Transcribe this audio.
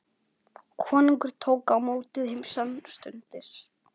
Konungur tók á móti þeim samstundis.